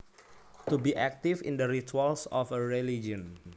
To be active in the rituals of a religion